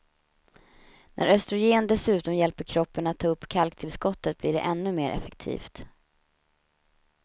När östrogen dessutom hjälper kroppen att ta upp kalktillskottet blir det ännu mer effektivt.